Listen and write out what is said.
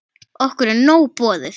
Okkur er nóg boðið